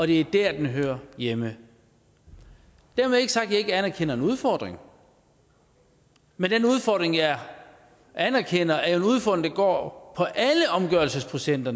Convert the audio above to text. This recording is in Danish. det er der det hører hjemme dermed ikke sagt er jeg ikke anerkender en udfordring men den udfordring jeg anerkender er jo en udfordring der går på alle omgørelsesprocenter